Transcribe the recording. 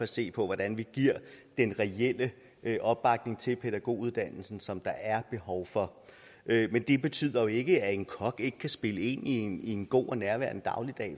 se på hvordan vi giver den reelle opbakning til pædagoguddannelsen som der er behov for men det betyder jo ikke at en kok ikke kan spille ind i en i en god og nærværende dagligdag